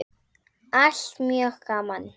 Allt mjög gaman.